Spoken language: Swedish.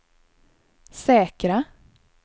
säkra